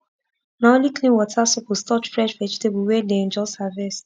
na only clean water suppose touch fresh vegetable wey den just harvest